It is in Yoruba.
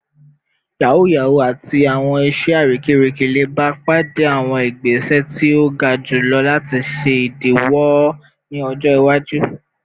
Yahoo yahoo ati awọn iṣẹ arekereke le ba pade awọn igbese ti o ga julọ lati ṣe idiwọ wọn ni ọjọ iwaju